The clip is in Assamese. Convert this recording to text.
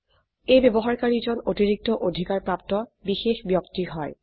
এই ব্যবহাৰকাৰী জন অতিৰিক্ত অধিকাৰ প্ৰাপ্ত বিশেষ ব্যক্তি হয়